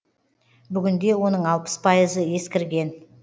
бүгінде оның алпыс пайызы ескірген